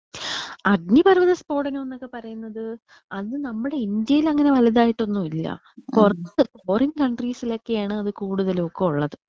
അഗ്നിപർവ്വതം സ്ഫോടനം ന്നൊക്കെ പറയുന്നത് അത് നമ്മുടെ ഇന്ത്യയിൽ വലുതായിട്ട് ഒന്നുമില്ല. പുറത്ത് ഫോറിൻ കൺട്രീസിലൊക്കെണ് അത് കൂടുതലൊക്കെ ഉള്ളത്.